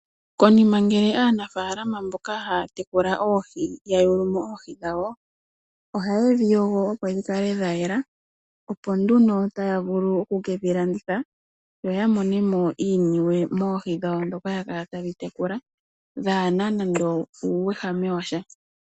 Konima ngele aanafaalama mboka haa tekula oohi ya yulu mo oohi dhawo, ohaye dhi yogo opo dhi kale dha yela opo nduno taya vulu okukedhi landitha yo ya mone mo iiniwe moohi dhawo ndhoka ya kala taye dhi tekula dhaana nande uuwehame wa sha.